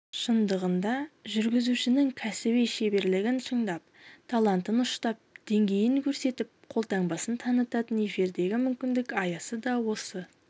шындығында жүргізушінің кәсіби шеберлігін шыңдап талантын ұштап деңгейін көрсетіп қолтаңбасын танытатын эфирдегі мүмкіндік аясы да осы